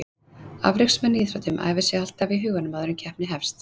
Afreksmenn í íþróttum æfa sig alltaf í huganum áður en keppni hefst.